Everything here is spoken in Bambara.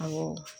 Awɔ